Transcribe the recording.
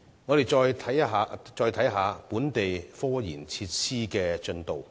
我們再看看本地科研設施的進度。